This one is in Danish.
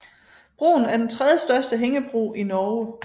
Broen er den tredjestørste hængebro i Norge